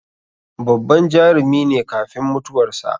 Babban Jarumi ne kafin mutuwar sa